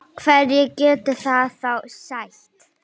Hverju getur það þá sætt?